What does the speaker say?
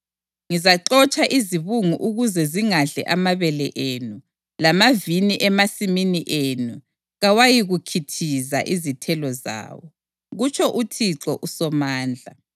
Ngizaxotsha izibungu ukuze zingadli amabele enu, lamavini emasimini enu kawayikukhithiza izithelo zawo,” kutsho uThixo uSomandla.